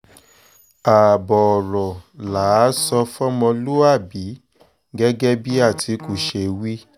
ààbọ̀ ọ̀rọ̀ là á sọ fọmọlúàbí gẹ́gẹ́ bí àtìkù ṣe wí